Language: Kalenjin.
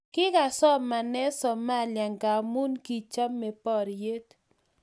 kikasomaene somalia ngamun kichame poryet